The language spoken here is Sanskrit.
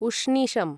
उष्णीषम्